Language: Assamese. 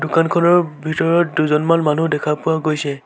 দোকানখনৰ ভিতৰত দুজনমান মানুহ দেখা পোৱা গৈছে।